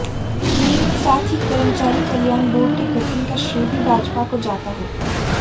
साथ ही कर्मचारी कल्याण बोर्ड के गठन का श्रेय भी भाजपा को जाता है